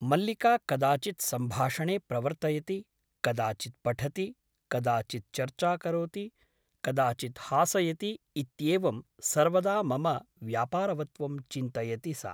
मल्लिका कदाचित् सम्भाषणे प्रवर्तयति , कदाचित् पठति , कदाचित् चर्चा करोति , कदाचित् हासयति इत्येवं सर्वदा मम व्यापारवत्त्वं चिन्तयति सा ।